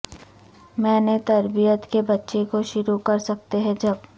میں نے تربیت کے بچے کو شروع کر سکتے ہیں جب